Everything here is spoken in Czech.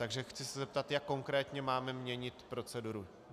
Takže chci se zeptat, jak konkrétně máme měnit proceduru.